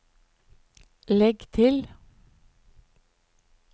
legg til